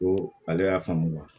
Ko ale y'a faamu